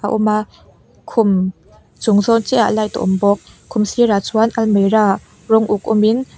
a awm a khum chung zawn chiahah light a awm bawk khum sirah chuan almera rawng uk awmin.